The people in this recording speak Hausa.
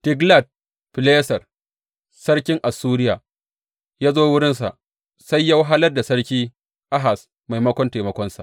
Tiglat Fileser sarkin Assuriya ya zo wurinsa, sai ya wahalar da sarki Ahaz maimakon taimakonsa.